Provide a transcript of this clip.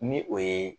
Ni o ye